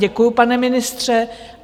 Děkuju, pane ministře.